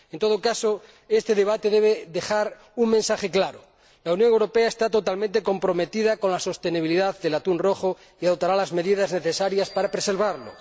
En todo caso, este debate debe dejar un mensaje claro la Unión Europea está totalmente comprometida con la sostenibilidad del atún rojo y adoptará las medidas necesarias para preservarlo.